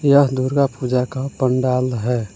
यह दुर्गा पूजा का पंडाल है।